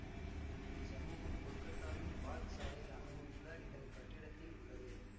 இச்சமூகம் கொல்கத்தாவின் பார்க் சாலையில் அமைந்துள்ள இதன் கட்டிடத்தில் உள்ளது